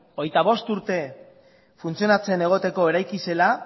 hogeita bost urte funtzionatzen egoteko eraiki zela